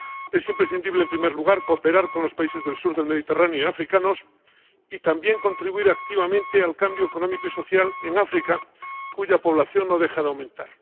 Es imprescindible, en primer lugar, cooperar con los países del sur del Mediterráneo y con los países africanos y, también, contribuir activamente al cambio económico y social en África, cuya población no deja de aumentar.